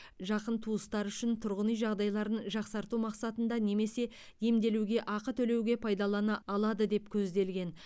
жақын туыстары үшін тұрғын үй жағдайларын жақсарту мақсатында немесе емделуге ақы төлеуге пайдалана алады деп көзделген